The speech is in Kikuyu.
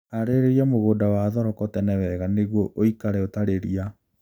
Harĩria mũgunda wa thoroko tene wega nĩguo ũikare ũtarĩ ria